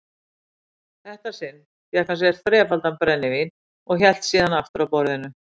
þetta sinn fékk hann sér þrefaldan brennivín og hélt síðan aftur að borðinu.